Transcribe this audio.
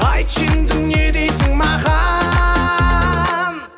айтшы енді не дейсін маған